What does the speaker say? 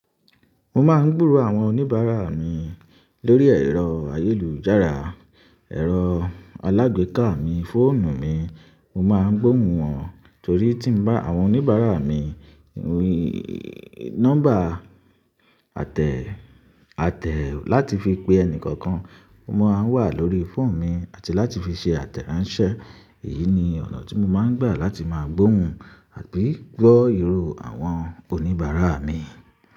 Mo máa ń gbúrò àwọn oníbàrà mi lórí ẹ̀rọ ayélujára, ẹ̀rọ alágbèéká mi fóònù mi mo máa ń gbóùn wọn torí àwọn oníbàrà mi nọ́mbà láti fi pe ẹni kọ̀ọ̀kan ó máa ń wà lórí fóònù mi àti láti fi ṣe àtẹ̀ránṣẹ́. Èyí ni ọ̀nà tí mo máa ń gbà láti máa gbóhùn àti gbọ́ ìró àwọn oníbàárà mi.